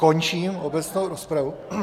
Končím obecnou rozpravu.